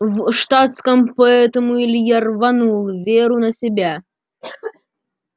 в штатском поэтому илья рванул веру на себя